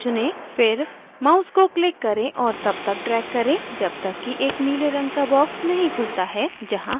फिर mouse को click करें और तब तक drag करें जब तक कि एक नीले रंग का box नहीं खुलता है जहाँ हम icon जोड सकते हैं